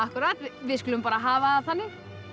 við skulum bara hafa það þannig